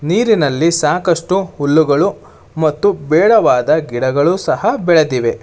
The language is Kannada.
ನೀರಿನಲ್ಲಿ ಸಾಕಷ್ಟು ಹುಲ್ಲುಗಳು ಮತ್ತು ಬೇಡವಾದ ಗಿಡಗಳು ಸಹ ಬೆಳೆದಿವೆ.